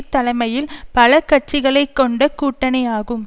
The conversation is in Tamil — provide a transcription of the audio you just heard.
தலைமையில் பல கட்சிகளை கொண்ட கூட்டணியாகும்